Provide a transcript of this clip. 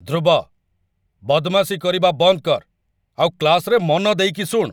ଧ୍ରୁବ, ବଦମାସି କରିବା ବନ୍ଦ କର୍ ଆଉ କ୍ଲାସ୍‌ରେ ମନ ଦେଇକି ଶୁଣ୍!